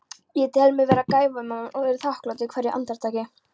Ég tel mig vera gæfumann og er þakklátur hverju andartaki.